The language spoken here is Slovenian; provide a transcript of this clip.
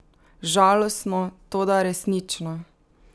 Žalostno, toda resnično!